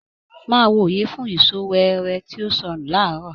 Máa wo oye fún ìsọ weere tí ó sọnù laarọ.